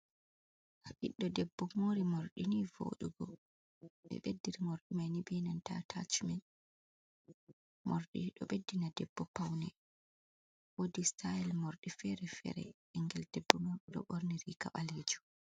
Ɓiɗdo debbo mori morɗi ni voɗugo, ɓe beddi ri morɗi mai ni be atachmen, morɗi ɗo ɓeddina debbo paune, wodi stayl morɗi fere fere, ɓingel debbo man ɗo ɓorni riga ɓalejum.